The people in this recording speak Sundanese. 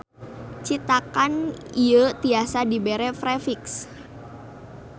Citakan ieu tiasa dibere prefiks.